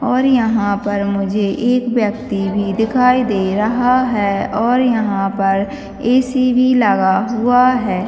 और यहाँ पर मुझे एक व्यक्ति भी दिखाई दे रहा है और यहाँ पर ए. सी. भी लगा हुआ है।